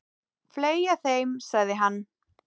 Fleygja þeim, sagði hann.